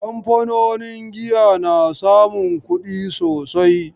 Kamfanonin giya na samun kudi sosai.